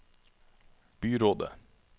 byrådet